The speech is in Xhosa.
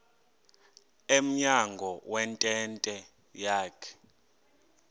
emnyango wentente yakhe